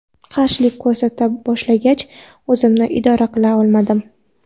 Qarshilik ko‘rsata boshlagach o‘zimni idora qila olmadim.